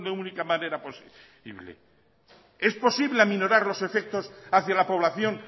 única manera posible es posible aminorar los efectos hacia la población